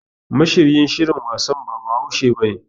Mashiryin shirin wasan ba Bahaushe bane.